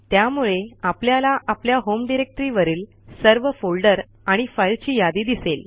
त्यामुळे आपल्याला आपल्या होम डायरेक्टरी वरील सर्व फोल्डर आणि फाईलची यादी दिसेल